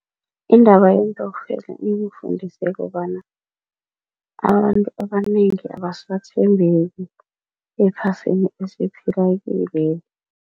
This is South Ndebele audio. Indaba yeentokfela ingifundise kobana abantu abanengi abasathembeki ephasini esiphila kilweli.